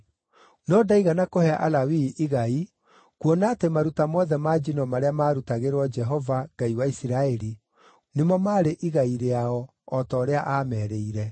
No ndaigana kũhe Alawii igai, kuona atĩ maruta mothe ma njino marĩa maarutagĩrwo Jehova, Ngai wa Isiraeli, nĩmo maarĩ igai rĩao, o ta ũrĩa aamerĩire.